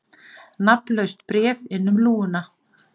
Nafnlaust bréf inn um lúguna